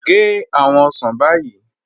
Gẹ́ awọn osán báyì